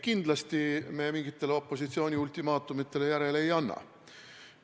Kindlasti me mingitele opositsiooni ultimaatumitele järele ei anna.